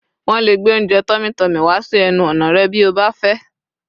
wón le gbe ounjẹ tummy tummy wá sí ẹnu ọnà rẹ bi o ba fẹ